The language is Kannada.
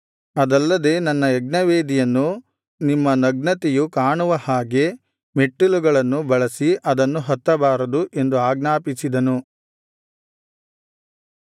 ಅದಲ್ಲದೆ ನನ್ನ ಯಜ್ಞವೇದಿಯನ್ನು ನಿಮ್ಮ ನಗ್ನತೆಯು ಕಾಣುವ ಹಾಗೆ ಮೆಟ್ಟಲುಗಳನ್ನು ಬಳಸಿ ಅದನ್ನು ಹತ್ತಬಾರದು ಎಂದು ಆಜ್ಞಾಪಿಸಿದನು